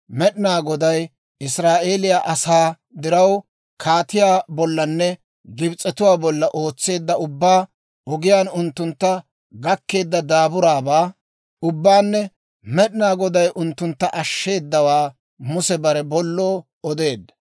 Med'inaa Goday Israa'eeliyaa asaa diraw, kaatiyaa bollanne Gibs'etuwaa bolla ootseedda ubbaa, ogiyaan unttuntta gakkeedda daaburaabaa ubbaanne Med'inaa Goday unttuntta ashsheeddawaa Muse bare bolloo odeedda.